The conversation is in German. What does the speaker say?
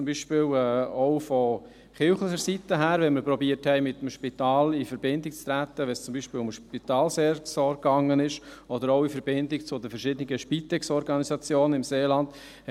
Ich habe jetzt zum Beispiel auch von kirchlicher Seite her, wenn wir versuchten, mit dem Spital in Verbindung zu treten, wenn es zum Beispiel um die Spitalseelsorge ging oder auch in Verbindung mit den verschiedenen Spitex-Organisationen im Seeland ...